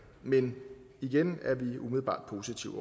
men igen er vi umiddelbart positivt